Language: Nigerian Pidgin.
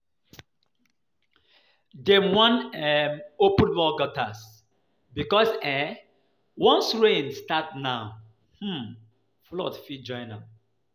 Dem wan um open more gutters because um once heavy rain start now um flood fit join am